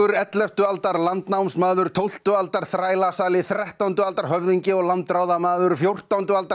elleftu aldar landnámsmaður tólftu aldar þrettándu aldar höfðingi og landráðamaður fjórtándu aldar